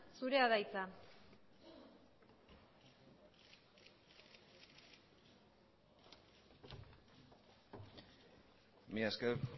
zurea da hitza mila esker